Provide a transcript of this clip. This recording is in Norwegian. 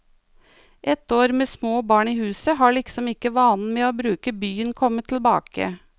Etter år med små barn i huset har liksom ikke vanen med å bruke byen kommet tilbake.